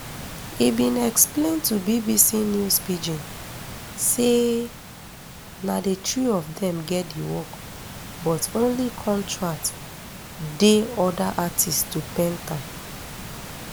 e bin explian to bbc news pidgin say na di three of dem get di work but only contract di oda artists to paint am